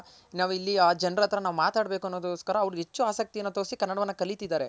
ನಾವ್ ಇಲ್ಲಿ ಆ ಜನರ್ ಹತ್ರ ನಾವ್ ಮಾತಾಡ್ಬೆಕನ್ನೋದ್ ಅವ್ರ್ಗೊಸ್ಕರ ಹೆಚ್ಚು ಆಸಕ್ತಿಕಯನ ತೋರ್ಸಿ ಕನ್ನಡವನ್ನ ಕಲಿತಿದಾರೆ.